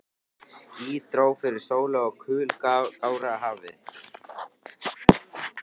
Ský dró fyrir sólu og kul gáraði hafið.